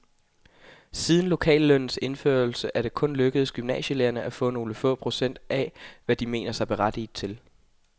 Siden lokallønnens indførelse er det kun lykkedes gymnasielærerne at få nogle få procent af, hvad de mener sig berettiget til.